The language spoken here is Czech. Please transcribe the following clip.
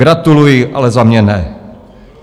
Gratuluji, ale za mě ne.